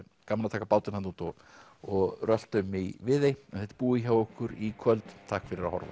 gaman að taka bátinn þarna út og og rölta um í Viðey þetta er búið hjá okkur í kvöld takk fyrir að horfa